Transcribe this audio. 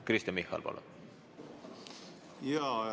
Kristen Michal, palun!